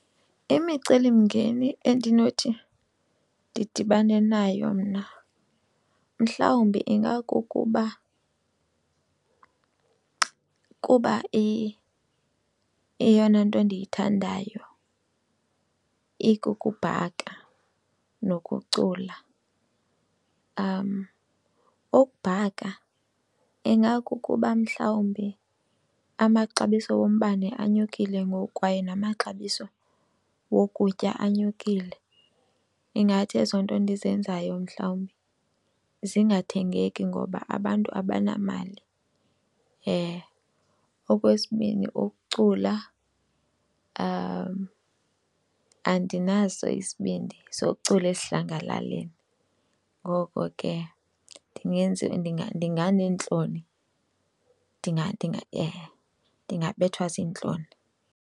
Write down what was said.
Imicelimngeni endinothi ndidibane nayo mna mhlawumbe ingakukuba kuba iyeyona nto ndiyithandayo ikukubhaka nokucula. Ukubhaka ingakukuba mhlawumbi amaxabiso wombane inyukile ngoku kwaye namaxabiso wokutya anyukile. Ingathi ezo nto endizenzayo mhlawumbi zingathengeki ngoba abantu abanamali. Okwesibini ukucula, andinaso isibindi sokucula esidlangalaleni ngoko ke ndinganeentloni, ndingabethwa ziintloni.